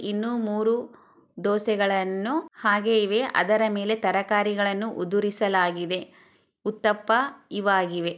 ಇನ್ನು ಮೂರೂ ದೋಸೆಗಳನು ಹಾಗೆ ಇವೆ ಅದರ ಮೇಲೆ ತರಕಾರಿಗಳನು ಉದರಿಸಲಾಗಿದೆ ಹುತ್ತಪ ಇವಾಗಿವೆ